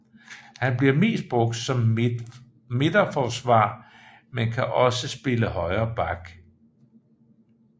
Han bliver mest brugt som midterforsvarer men kan også spille højreback